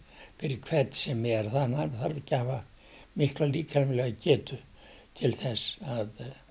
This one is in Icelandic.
hvern sem er það þarf ekki að hafa mikla líkamlega getu til þess að